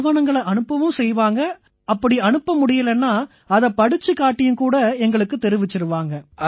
ஆவணங்களை அனுப்பவும் செய்வாங்க அப்படி அனுப்ப முடியலைன்னா அதைப் படிச்சுக் காட்டியும் கூட எங்களுக்குத் தெரிவிச்சிருவாங்க